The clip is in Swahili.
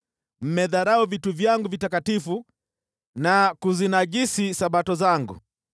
Mmedharau vitu vyangu vitakatifu na kuzinajisi Sabato zangu.